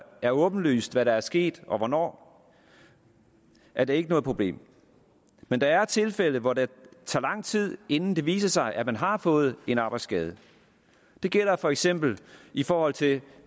er åbenlyst hvad der er sket og hvornår er det ikke noget problem men der er tilfælde hvor det tager lang tid inden det viser sig at man har fået en arbejdsskade det gælder for eksempel i forhold til